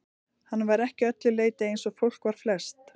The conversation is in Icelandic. Hann var ekki að öllu leyti eins og fólk var flest.